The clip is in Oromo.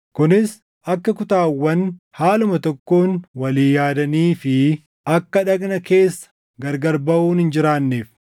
kunis akka kutaawwan haaluma tokkoon walii yaadanii fi akka dhagna keessa gargar baʼuun hin jiraanneef.